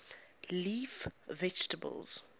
leaf vegetables